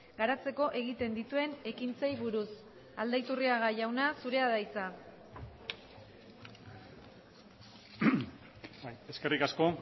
garatzeko egiten dituen ekintzei buruz aldaiturriaga jauna zurea da hitza eskerrik asko